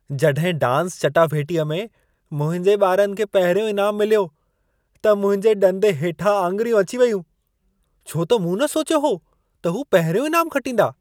जॾहिं डांस चटाभेटीअ में मुंहिंजे ॿारनि खे पहिरियों इनाम मिलियो, त मुंहिंजे ॾंदे हेठां आङिरियूं अची वयूं। छो त मूं न सोचियो हो त हू पहिरियों इनाम खटींदा।